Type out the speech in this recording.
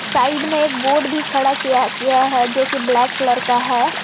Side में एक board भी खड़ा किया किया है जो कि ब्लैक कलर का है।